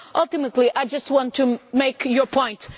Ultimately, I just want to make your point.